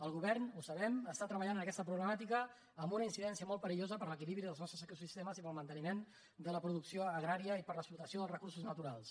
el govern ho sabem està treballant en aquesta problemàtica amb una incidència molt peri·llosa per a l’equilibri dels nostres ecosistemes i per al manteniment de la producció agrària i per a l’explota·ció dels recursos naturals